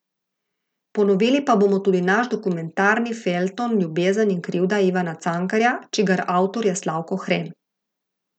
Ponovili pa bomo tudi naš dokumentarni feljton Ljubezen in krivda Ivana Cankarja, čigar avtor je Slavko Hren.